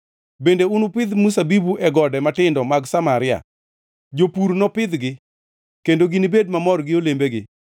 Bende unupidh mzabibu e gode matindo mag Samaria; jopur nopidhgi, kendo ginibed mamor gi olembegi.